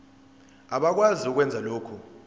abakwazi ukwenza lokhu